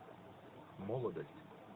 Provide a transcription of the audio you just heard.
молодость